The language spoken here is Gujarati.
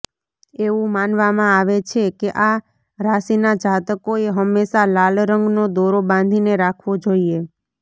એવું માનવામાં આવે છે કે આ રાશિના જાતકોએ હંમેશા લાલ રંગનો દોરો બાંધીને રાખવો જોઈએ